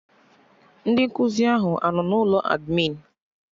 Ndị nkụzi ahụ anọ na ụlọ admịn?